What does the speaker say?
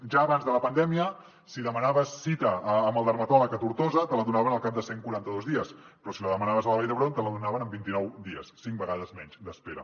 ja abans de la pandèmia si demanaves cita amb el dermatòleg a tortosa te la donaven al cap de cent i quaranta dos dies però si la demanaves a la vall d’hebron te la donaven en vint nou dies cinc vegades menys d’espera